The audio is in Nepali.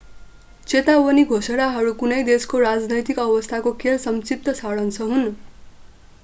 चेतावनी घोषणाहरू कुनै देशको राजनैतिक अवस्थाको केवल संक्षिप्त सारांश हुन्